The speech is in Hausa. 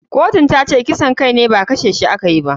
Kotun tace kisan kai ne ba kashe shi a kayi ba.